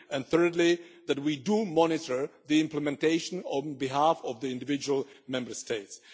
and thirdly, we need to monitor the implementation on behalf of the individual Member States.